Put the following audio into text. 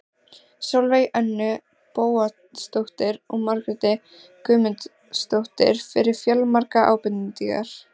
Sólveigu Önnu Bóasdóttur og Margréti Guðmundsdóttur fyrir fjölmargar ábendingar.